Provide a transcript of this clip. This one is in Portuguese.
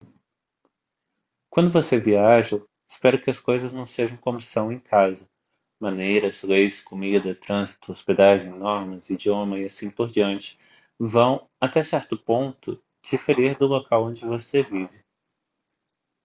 quando você viaja espera que as coisas não sejam como são em casa maneiras leis comida trânsito hospedagem normas idioma e assim por diante vão até certo ponto diferir do local onde você vive